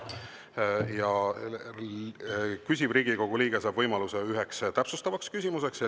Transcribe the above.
Küsimuse esitanud Riigikogu liige saab võimaluse esitada ühe täpsustava küsimuse.